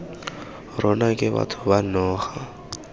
rona ke batho ba naga